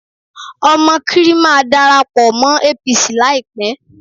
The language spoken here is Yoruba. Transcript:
Omokri máa darapọ̀ mọ́ APC láìpẹ́